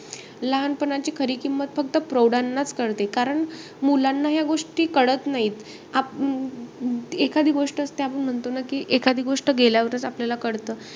लहानपणाची खरी किंमत फक्त प्रौढानाचं कळते. कारण मुलांना ह्या गोष्ट कळत नाही. आपण अं एखादी गोष्ट असते आपण म्हणतो ना, की एखादी गोष्ट फक्त गेल्यावरचं आपल्याला कळतं.